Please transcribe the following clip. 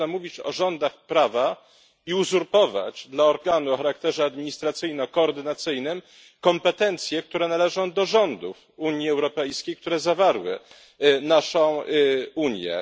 Jak można mówić o rządach prawa i uzurpować dla organu o charakterze administracyjno koordynacyjnym kompetencje, które należą do rządów Unii Europejskiej, które zawarły naszą Unię?